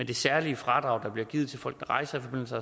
det særlige fradrag der bliver givet til folk der rejser i forbindelse